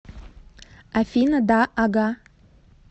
афина да ага